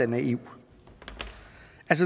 naiv